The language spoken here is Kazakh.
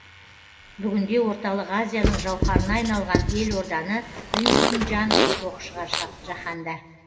бүгінде орталық азияның жауһарына айналған елорданы білмейтін жан жоқ шығар жаһанда